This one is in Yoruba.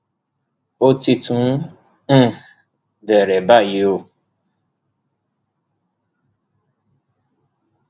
ó ti tún ń um bẹrẹ báyìí o